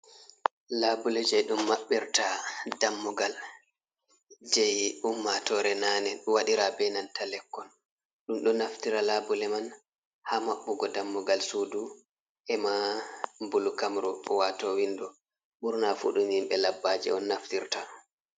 Labule je ɗum mabbirta ɗammugal. Je ummatore nane waɗira be nanta lekkon. Ɗum ɗo naftira labule man ha mabbugo ɗammugal suɗu, ema bulukamru, wato winɗo. Burna fu ɗum himbe labbaje on naftirta.